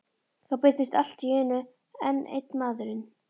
Þá birtist allt í einu enn einn maðurinn.